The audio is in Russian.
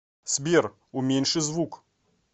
сбер уменьши звук